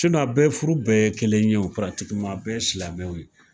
furu bɛɛ ye kelen ye, a bɛɛ ye silamɛw ye.